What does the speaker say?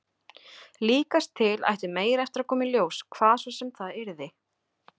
Líkast til ætti meira eftir að koma í ljós, hvað svo sem það yrði.